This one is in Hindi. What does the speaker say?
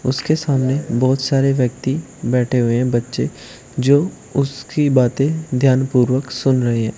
उसके सामने बहोत सारे व्यक्ती बैठे हुए हैं बच्चे जो उसकी बातें ध्यान पूर्वक सुन रहे है।